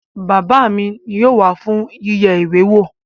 Bàbá mi yóò wá fún yíyẹ ìwé wò